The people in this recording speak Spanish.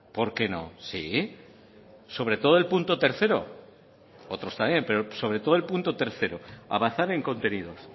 por qué no sí sobre todo el punto tercero otros también pero sobre todo el punto tercero avanzar en contenidos